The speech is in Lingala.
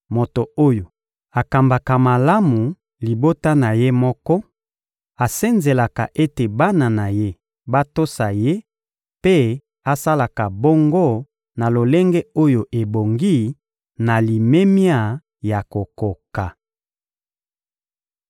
moto oyo akambaka malamu libota na ye moko, asenzelaka ete bana na ye batosa ye mpe asalaka bongo na lolenge oyo ebongi na limemia ya kokoka.